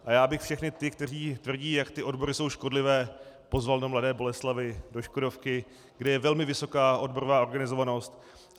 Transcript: A já abych všechny ty, kteří tvrdí, jak ty odbory jsou škodlivé, pozval do Mladé Boleslavi do Škodovky, kde je velmi vysoká odborová organizovanost.